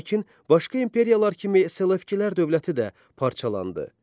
Lakin başqa imperiyalar kimi Selevkilər dövləti də parçalandı.